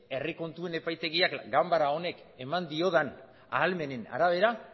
herri kontuen epaitegiak ganbara honek eman diodan ahalmenen arabera